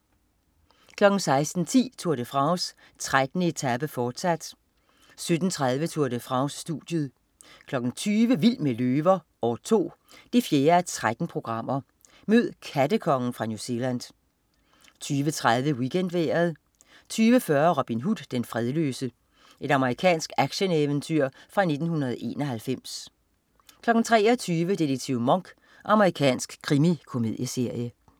16.10 Tour de France: 13. etape, fortsat 17.30 Tour de France. Studiet 20.00 Vild med løver. År 2. 4:13. Mød "kattekongen" fra New Zealand 20.30 WeekendVejret 20.40 Robin Hood, den fredløse. Amerikansk action-eventyr fra 1991 23.00 Detektiv Monk. Amerikansk krimikomedieserie